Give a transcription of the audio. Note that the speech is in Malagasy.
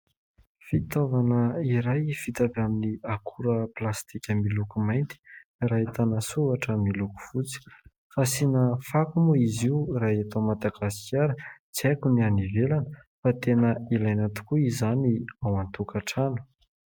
Fitaovana iray vita avy amin'ny akora plastika miloko mainty ary ahitana soratra miloko fotsy, fasiana fako moa izy io raha eto Madagasikara, tsy aiko ny any ivelana fa tena ilaina tokoa izany ao an-tokantrano.